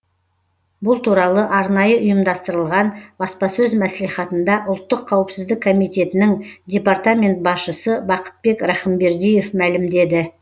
бұл туралы арнайы ұйымдастырылған баспасөз мәслихатында ұлттық қауіпсіздік комитетінің департамент басшысы бақытбек рахымбердиев мәлімдеді